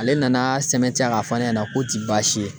Ale nana sɛbɛn tiɲɛn ka fɔ ne ɲɛna k'o ti baasi ye.